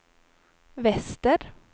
väster